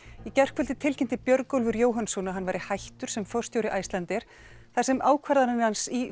í gærkvöldi tilkynnti Björgólfur Jóhannsson að hann væri hættur sem forstjóri Icelandair þar sem ákvarðanir hans í